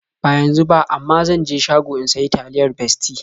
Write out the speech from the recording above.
Ba yanzu ba, amma zan je shago in sayi taliyar Bestie.